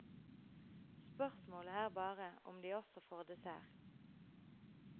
Spørsmålet er bare om de også får dessert.